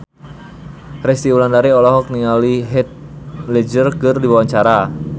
Resty Wulandari olohok ningali Heath Ledger keur diwawancara